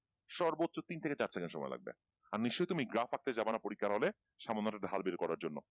সর্বোচ্ছ তিন থেকে চার second সময় লাগবে আর নিশ্চই তুমি গ্রাফ আঁকতে জাবানা পরীক্ষার হলে সামান্য একটা হাল বের করার জন্য